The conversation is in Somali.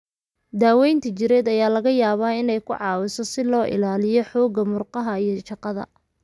Daaweynta jireed ayaa laga yaabaa inay ku caawiso si loo ilaaliyo xoogga murqaha iyo shaqada.